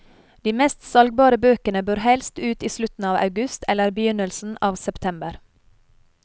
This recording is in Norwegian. De mest salgbare bøkene bør helst ut i slutten av august eller begynnelsen av september.